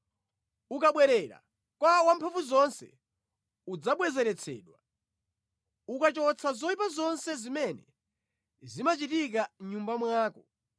Ukabwerera kwa Wamphamvuzonse udzabwezeretsedwa; ukachotsa zoyipa zonse zimene zimachitika mʼnyumba mwako,